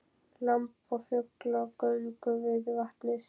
Lamb og fugl á göngu við vatnið